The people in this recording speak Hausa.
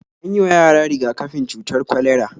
An yi wa yara riga-kafin cutar kwalera